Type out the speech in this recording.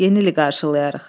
Yeni il qarşılayarıq.